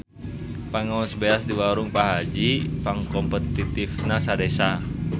Pangaos beas di warung Pak Haji pangkompetitifna sa desa